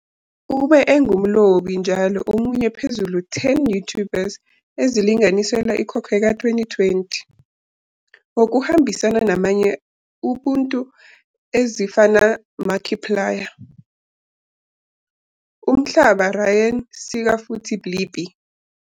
Ube engumlobi njalo omunye phezulu 10 YouTubers ezilinganiselwa ikhokhwe ka 2020, ngokuhambisana namanye ubuntu ezifana Markiplier, Umhlaba Ryan sika futhi Blippi.